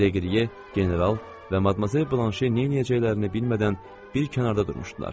Deqriye, General və Madmazel Blanşe neyləyəcəklərini bilmədən bir kənarda durmuşdular.